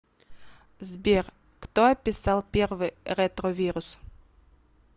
сбер кто описал первый ретровирус